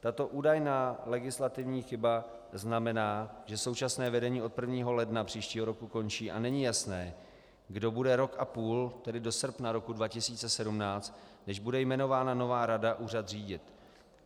Tato údajná legislativní chyba znamená, že současné vedení od 1. ledna příštího roku končí a není jasné, kdo bude rok a půl, tedy do srpna roku 2017, než bude jmenována nová rada, úřad řídit.